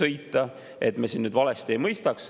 et me siin nüüd valesti ei mõistaks.